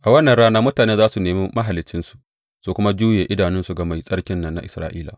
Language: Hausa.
A wannan rana mutane za su nemi Mahaliccinsu su kuma juye idanunsu ga Mai Tsarkin nan na Isra’ila.